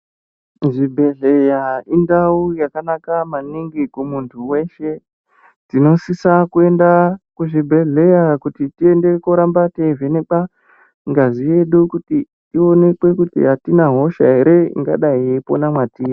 Kuzvibhehleya indau yakanaka maningi kumunhu weshe tinosisa kuenda kuzvibhehleya kuti tiende koramba teivhenekwa ngazi yedu kuti tionekwe kuti atina hosha ere ingadai yeipona mwatiri.